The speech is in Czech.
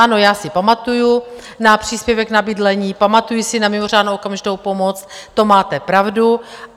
Ano, já si pamatuju na příspěvek na bydlení, pamatuji si na mimořádnou okamžitou pomoc, to máte pravdu.